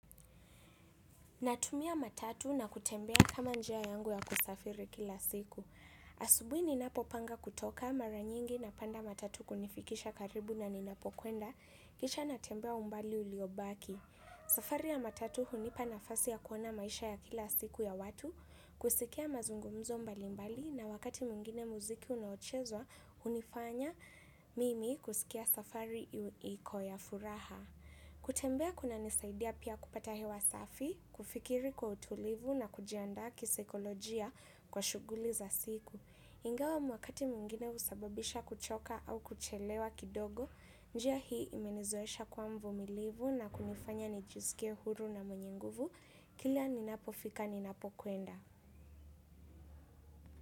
Natumia matatu na kutembea kama njia yangu ya kusafiri kila siku. Asubuhi ninapopanga kutoka mara nyingi napanda matatu kunifikisha karibu na ninapokwenda. Kisha natembea umbali uliobaki. Safari ya matatu hunipa nafasi ya kuona maisha ya kila siku ya watu. Kusikia mazungumzo mbali mbali na wakati mwingine muziki unaochezwa, hunifanya mimi kusikia safari iko ya furaha. Kutembea kunanisaidia pia kupata hewa safi, kufikiri kwa utulivu na kujiandaa kisaikolojia kwa shughuli za siku. Ingawa wakati mwingine husababisha kuchoka au kuchelewa kidogo. Njia hii imenizoesha kuwa mvumilivu na kunifanya nijisikie huru na mwenye nguvu kila ninapofika ninapokwenda.